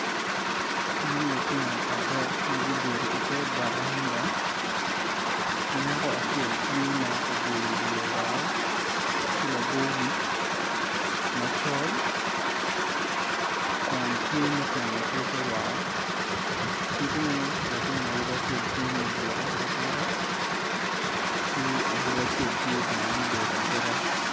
Man lutino adek ma gubedo i te bwaranda nyako acel ma oboyo wiye woko ki labo wic macol kun tye ma oteno tike woko kidong latin awobi acel tye ma obuto abuta ki awobi acel tye bene ma obedo abeda